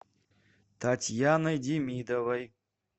татьяной демидовой